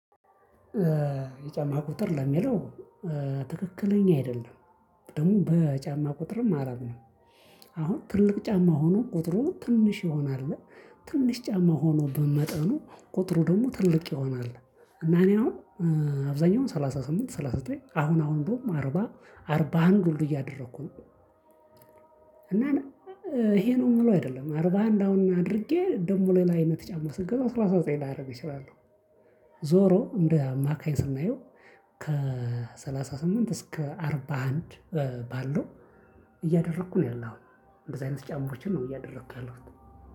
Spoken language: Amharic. የጫማ ቁጥር ለሚለው ትክክለኛ አይደለም ደሞ በጫማ ቁጥርም አረብ ነው። አሁን ትልቅ ጫማ ሆኖ ቁጥሩ ትንሽ ይሆነ አለ። ትንሽ ጫማ ሆኖ ግን በመጠኑ ቁጥሩ ደሞ ትልቅ ይሆነ አለ። እና እኔ አሁን አብዛኛው ሰላሳ ስምንት ሰላሳ ዘጠኝ አሁን አሁን እንደሁም አርባ አርባ አርባ አንድ ውሉ እያደረኩ ነው። እና ይሄ ነው የምለው አይደለም አርባ አንድ አሁን አድርጌ ደሞ ሌላ አይነት ጫማ ስንገዛ ስላሳ ዘጠኝ ሊያረጉ ይችላሉ። ዞሮ እንደ ማከኝ ስናየው። ከሰላሳ ስምንት እስከ አርባ አንድ ባለው እያደረኩ ነው ያለውሁ። እንደዚህ አይነት ጫማዎችን ነው እያደረኩ ያለሁት።